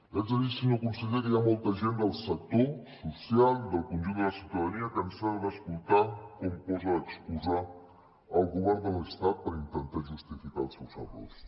li haig de dir senyor conseller que hi ha molta gent del sector social i del conjunt de la ciutadania cansada d’escoltar com posa d’excusa el govern de l’estat per intentar justificar els seus errors